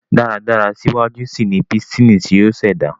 dáradára síwájú síi ní Pístìnì tí yóò ṣẹda